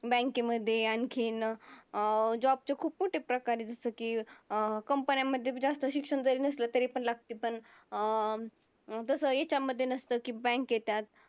बँके मध्ये आणखीन अं job चे खूप मोठे प्रकार आहेत जसं की अं company मध्ये जास्त शिक्षण जरी नसलं तरी पण लागते पण अं तसं हेच्यामध्ये नसतं की bank येतात.